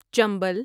Chambal